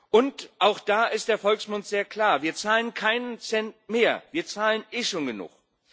Und auch da ist der Volksmund sehr klar Wir zahlen keinen Cent mehr, wir zahlen eh schon genug.